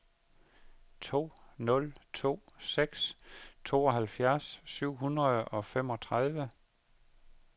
to nul to seks tooghalvfjerds syv hundrede og femogtredive